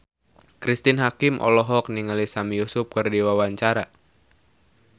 Cristine Hakim olohok ningali Sami Yusuf keur diwawancara